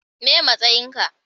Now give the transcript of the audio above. meye matsayin ka?